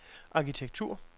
arkitektur